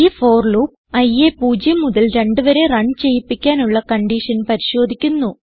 ഈ for loop iയെ പൂജ്യം മുതൽ രണ്ട് വരെ റണ് ചെയ്യിപ്പിക്കാനുള്ള കൺഡിഷൻ പരിശോധിക്കുന്നു